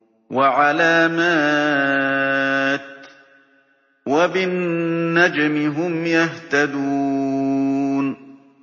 وَعَلَامَاتٍ ۚ وَبِالنَّجْمِ هُمْ يَهْتَدُونَ